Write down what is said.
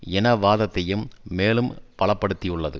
இனவாதத்தையும் மேலும் பலப்படுத்தியுள்ளது